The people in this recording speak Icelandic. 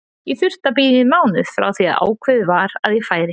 Ég þurfti að bíða í mánuð frá því að ákveðið var að ég færi.